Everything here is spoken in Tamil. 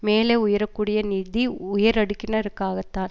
மேலே உயரக்கூடிய நிதி உயரடுக்கினருக்காகத்தான்